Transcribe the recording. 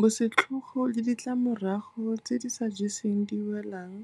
Bosetlhogo le ditlamorago tse di sa jeseng diwelang